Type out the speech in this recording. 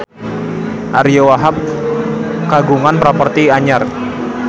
Ariyo Wahab kagungan properti anyar